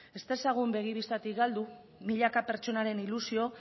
ez dezagun begi bistatik galdu milaka pertsonaren ilusio